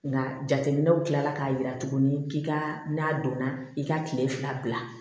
Nka jateminɛw kila la k'a jira tuguni k'i ka n'a donna i ka tile fila bila